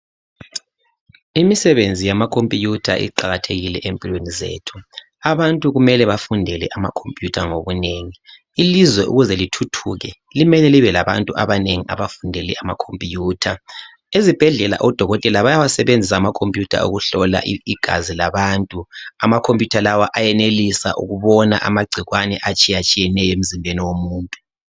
Imisebenzi yamakhompuyutha iqakathekile empilweni zethu. Abantu kumele bafundele amakomputha ngobunengi. Ilizwe ukuze lithuthuke limele libe labantu abanengi abafundele amakhompuyutha. Ezibhedlela odokotela bayawasebenzisa amakhomputha ukuhlola igazi labantu, amakhomputha lawo ayenelisa ukubona amagcikwane atshiyatshiyeneyo emzimbeni womuntu.